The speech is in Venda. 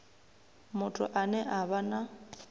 muthu ane a vha na